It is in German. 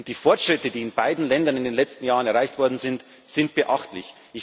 Die Fortschritte, die in beiden Ländern in den letzten Jahren erreicht worden sind, sind beachtlich.